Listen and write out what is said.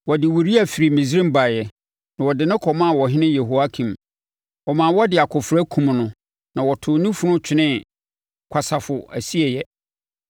Wɔde Uria firi Misraim baeɛ, na wɔde no kɔmaa ɔhene Yehoiakim. Ɔma wɔde akofena kumm no na wɔtoo ne funu twenee kwasafo asieeɛ.)